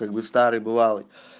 как бы старый бывалый